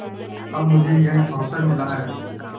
अब मुझे यह अवसर मिला है